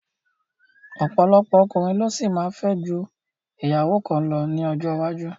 Ọ̀pọ̀lọpọ̀ ọkùnrin ló ṣì máa fẹ́ ju ìyàwó kan lọ ní ọjọ́ iwájú